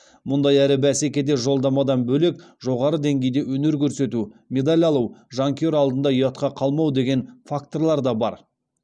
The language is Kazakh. мұндай әрі бәсекеде жолдамадан бөлек жоғары деңгейде өнер көрсету медаль алу жанкүйер алдында ұятқа қалмау деген факторлар да бар